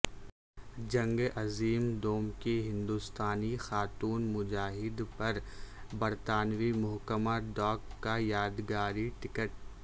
جنگ عظیم دوم کی ہندوستانی خاتون مجاہد پر برطانوی محکمہ ڈاک کا یادگاری ٹکٹ